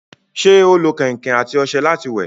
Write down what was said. ṣé ó lo kẹ̀ǹkẹ̀ àti ọṣẹ láti wẹ̀?